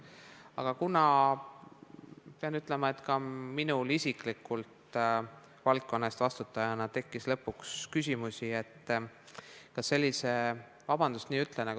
Aga kuna, pean ütlema, ka minul kui valdkonna eest vastutajal tekkis lõpuks küsimusi, kas sellise – vabandust, et nii ütlen!